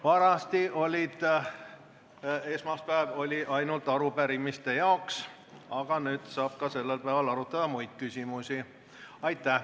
Vanasti oli esmaspäev ainult arupärimiste jaoks, aga nüüd saab ka sellel päeval arutada muid küsimusi.